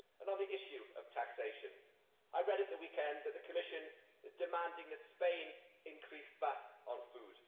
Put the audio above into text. On the issue of taxation, I read at the weekend that the Commission is demanding that Spain increase VAT on food.